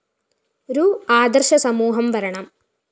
രു ആദര്‍ശ സമൂഹം വളരണം